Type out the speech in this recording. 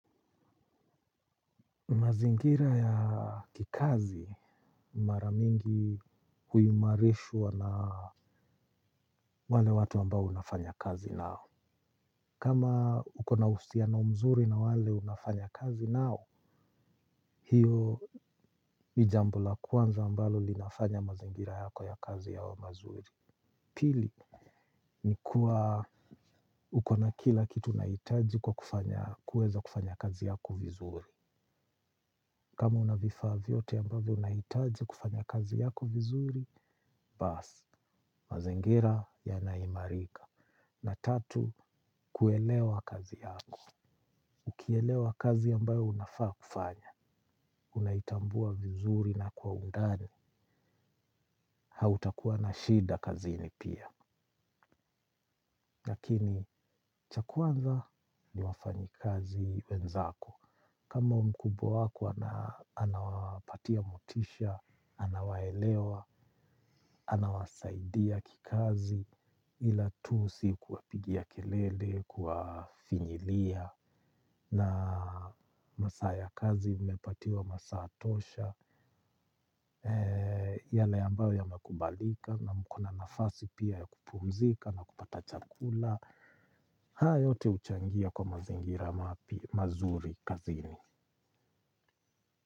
Mazingira ya kikazi mara mingi huimarishwa na wale watu ambao unafanya kazi nao. Kama ukona uhusiano mzuri na wale unafanya kazi nao. Hio ni jambo la kwanza ambalo linafanya mazingira yako ya kazi yawe mazuri. Pili ni kuwa uko na kila kitu unahitaji kwa kufanya kuweza kufanya kazi yako vizuri. Kama unavifaa vyote ambavyo unahitaji kufanya kazi yako vizuri, bas, mazingira yana imarika. Na tatu, kuelewa kazi yako. Ukielewa kazi ambayo unafaa kufanya unaitambua vizuri na kwa undani hautakuwa na shida kazini pia. Lakini cha kwanza ni wafanyi kazi wenzako. Kama mkubwa wako anawapatia motisha anawaelewa anawasaidia kikazi ila tu si kuwapigia kelele kuwaafinyilia na masaa ya kazi mmepatiwa masaa tosha. Yale ambayo yamakubalika na mko na nafasi pia ya kupumzika na kupata chakula. Haya yote huchangia kwa mazingira mazuri kazini.